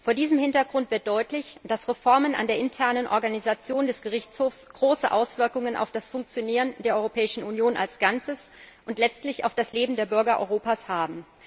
Vor diesem Hintergrund wird deutlich, dass Reformen an der internen Organisation des Gerichtshofs große Auswirkungen auf das Funktionieren der Europäischen Union als Ganzes und letztlich auf das Leben der Bürger Europas haben.